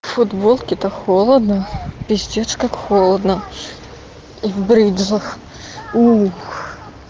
футболке та холодно пиздец как холодно и в бриджах